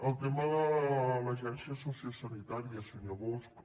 el tema de l’agència sociosanitària senyor bosch